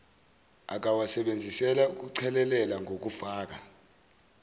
akawasebenzisela ukuchelelela ngokufaka